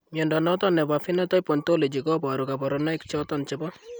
Mnyondo noton nebo Phenotype Ontology koboru kabarunaik choton chebo